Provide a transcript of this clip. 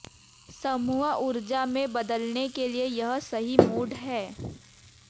समूह ऊर्जा में बदलने के लिए यह सही मूड है